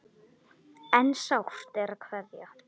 En sárt er að kveðja.